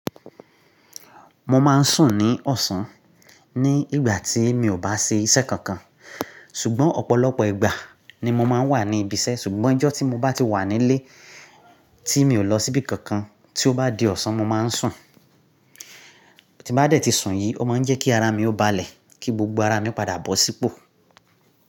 Mo máa ń sùn ní ọ̀sán ní ìgbà tí mi ò bá ṣe iṣẹ́ kankan. Ṣùgbọ́n ọ̀pọ̀lọpọ̀ ìgbà ni mo máa ń wà ní ibi iṣẹ́ ṣùgbọ́n ọjọ́ tí mo bá ti wà nílé tí mi ò lọ síbí kankan tí ó bá di ọ̀sán mo máa ń sùn. Tí bá dẹ́ ti sùn yìí, ó máa ń jẹ́ kí ara mi ó balẹ̀ kí gbogbo ara mi padà bọ̀ sípò.